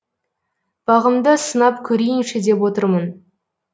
бағымды сынап көрейінші деп отырмын